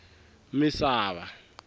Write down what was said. misava